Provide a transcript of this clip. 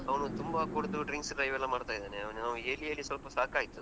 ಅವನು ತುಂಬಾ ಕುಡ್ದು drinks ಇವೆಲ್ಲಾ ಮಾಡ್ತಾ ಇದ್ದಾನೆ, ಅವ್ನು ಹೇಳಿ ಹೇಳಿ ಸ್ವಲ್ಪ ಸಾಕಾಯಿತು.